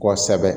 Kɔsɛbɛ